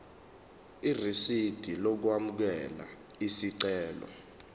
irisidi lokwamukela isicelo